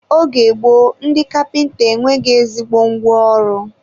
oge gboo, ndị kapịnta e nweghị ezigbo ngwa ọrụ.